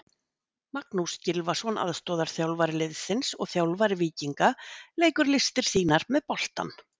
Magnús Gylfason aðstoðarþjálfari liðsins og þjálfari Víkinga leikur listir sínar með boltann.